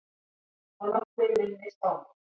Og nokkrir minni spámenn.